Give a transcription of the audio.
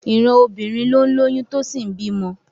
Ìran obìnrin ló ń lóyún tó sì ń bímọ